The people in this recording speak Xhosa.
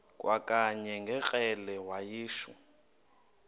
kwakanye ngekrele wayishu